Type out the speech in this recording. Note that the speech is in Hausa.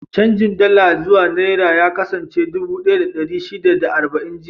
Canjin Dala zuwa Nera ya kasance dubu ɗaya da ɗari shida da arba'in jiya.